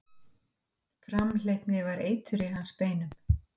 Framhleypni var eitur í hans beinum.